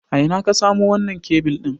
A ina ka samo wannan kebil ɗin?